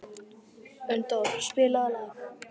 Unndór, spilaðu lag.